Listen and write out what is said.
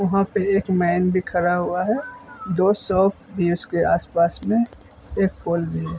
वहां पे एक मेन भी खड़ा हुआ है। दो शॉप भी है उसके आस पास में एक पोल भी है ।